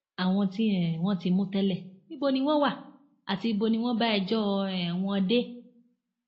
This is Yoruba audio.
àwọn tí um wọn ti mú tẹlẹ níbo ni wọn wà àti ibo ni wọn bá ẹjọ um wọn dé